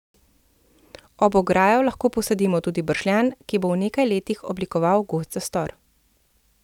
Ob ograjo lahko posadimo tudi bršljan, ki bo v nekaj letih oblikoval gost zastor.